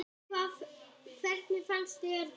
Hvernig fannst þér ganga?